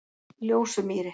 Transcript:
Ljósumýri